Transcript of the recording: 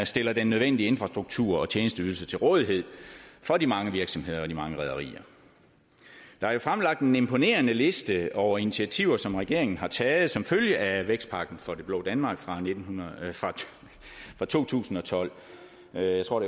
stiller den nødvendige infrastruktur og tjenesteydelser til rådighed for de mange virksomheder og de mange rederier der er jo fremlagt en imponerende liste over initiativer som regeringen har taget som følge af vækstpakken for det blå danmark fra fra to tusind og tolv jeg tror